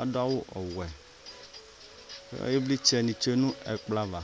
adu awu ɔwɛ Ivlitsɛni tsue nu ɛkplɔ ava